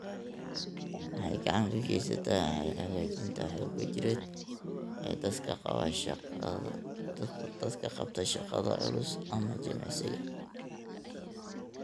Waxay gacan ka geysataa hagaajinta xoogga jireed ee dadka qaba shaqada culus ama jimicsiga.